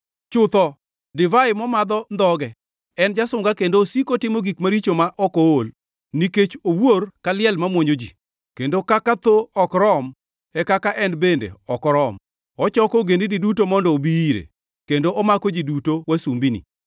chutho, divai momadho ndhoge; en jasunga kendo osiko otimo gik maricho ma ok ool. Nikech owuor ka liel mamuonyo ji kendo kaka tho ok rom e kaka en bende ok orom, ochoko ogendini duto mondo obi ire, kendo omako ji duto wasumbini.